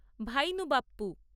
ভাইনু Bappu